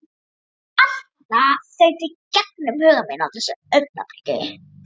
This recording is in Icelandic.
Allt þetta þaut í gegnum huga minn á þessu augnabliki.